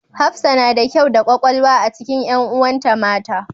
Hafsa na da kyau da ƙwaƙwalwa a cikin ƴanuwan ta mata.